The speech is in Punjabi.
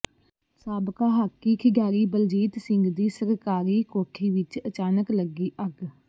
ਸਾਬਕਾ ਹਾਕੀ ਖਿਡਾਰੀ ਬਲਜੀਤ ਸਿੰਘ ਦੀ ਸਰਕਾਰੀ ਕੋਠੀ ਵਿਚ ਅਚਾਨਕ ਲੱਗੀ ਅੱਗ